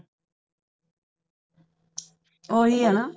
ਓਹੀ ਹੈਨਾ